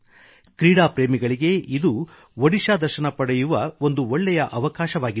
ಕ್ರೀಡಾ ಪ್ರೇಮಿಗಳಿಗೆ ಇದು ಒಡಿಶಾ ದರ್ಶನ ಪಡೆಯುವ ಒಂದು ಒಳ್ಳೇ ಅವಕಾಶವಾಗಿದೆ